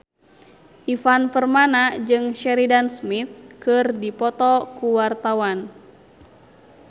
Ivan Permana jeung Sheridan Smith keur dipoto ku wartawan